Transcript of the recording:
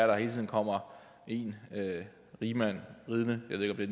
der hele tiden kommer en rigmand ridende jeg ved